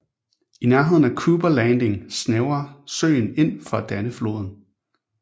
I nærheden af Cooper Landing snævrer søen ind for at danne floden